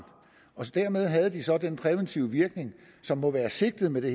dermed havde de så den præventive virkning som må være sigtet med det